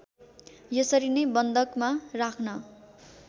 यसरी नै बन्धकमा राख्न